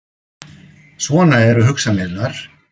Svona eru hugsanirnar.